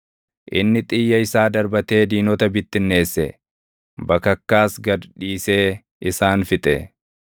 Inni xiyya isaa darbatee diinota bittinneesse; bakakkaas gad dhiisee isaan fixe.